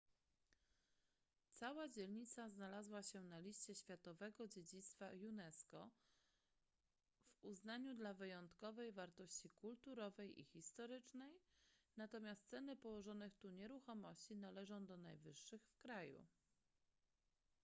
cała dzielnica znalazła się na liście światowego dziedzictwa unesco w uznaniu dla wyjątkowej wartości kulturowej i historycznej natomiast ceny położonych tu nieruchomości należą do najwyższych w kraju